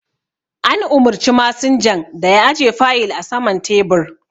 An umurci masinjan da ya aje fayil a saman tebur